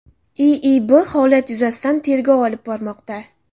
IIB holat yuzasidan tergov olib bormoqda.